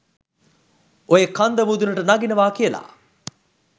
ඔය කන්ද මුදුනට නගිනවා කියලා